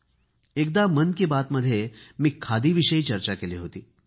मी एकदा मन की बात मध्ये खादीविषयी चर्चा केली होती